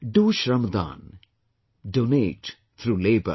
Do Shramdan, Donate through labor